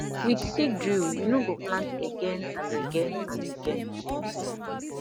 with seed drill you no go plant again and again and again